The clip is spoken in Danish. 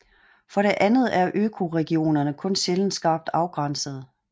For det andet er økoregionerne kun sjældent skarpt afgrænsede